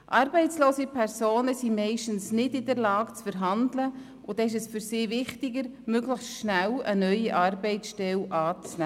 Arbeitslose Personen sind meistens nicht in der Lage zu verhandeln, und es ist für sie wichtiger, möglichst schnell eine neue Arbeitsstelle anzunehmen.